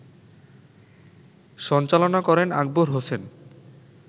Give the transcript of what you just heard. সঞ্চালনা করেন আকবর হোসেন